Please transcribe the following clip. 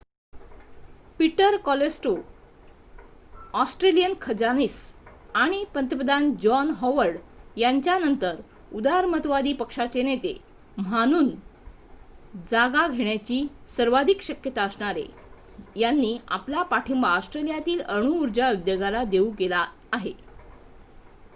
Peter Costello Australian खजानीस आणि पंतप्रधान जॉन हॉवर्ड यांच्या नंतर उदारमतवादी पक्षाचे नेते mhanun जागा घेण्याची सर्वाधिक शक्यता असणारे यांनी आपला पाठींबा ऑस्ट्रेलियातील अणुउर्जा उद्योगाला देऊ केलेला आहे